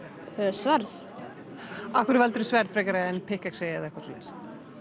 sverð af hverju valdirðu sverð frekar en pikkexi eða eitthvað svoleiðis